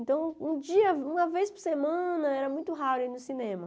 Então, um dia, uma vez por semana, era muito raro ir no cinema.